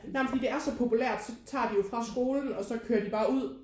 Nej men fordi det er så populært så tager de jo fra skolen og så kører de bare ud